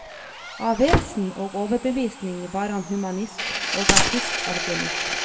Av vesen og overbevisning var han humanist, og artist av gemytt.